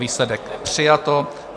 Výsledek: přijato.